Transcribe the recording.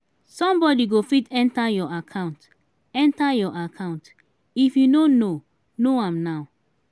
somebody go fit enter your account enter your account if you no know know am now.